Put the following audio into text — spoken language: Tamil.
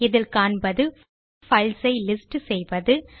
இதில் காண்பது பைல்ஸ் ஐ லிஸ்ட் செய்வது